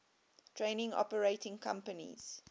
train operating companies